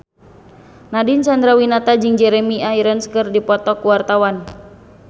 Nadine Chandrawinata jeung Jeremy Irons keur dipoto ku wartawan